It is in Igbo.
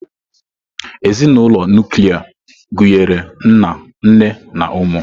Ezinụlọ nuklia gụnyere nna, nne na ụmụ.